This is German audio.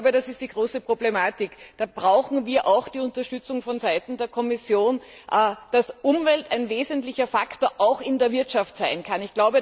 Das ist die große Problematik. Da brauchen wir auch die Unterstützung von Seiten der Kommission, dass Umwelt ein wesentlicher Faktor auch in der Wirtschaft sein kann.